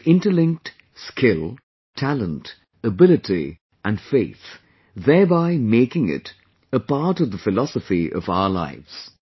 They have interlinked skill, talent, ability with faith, thereby making it a part of the philosophy of our lives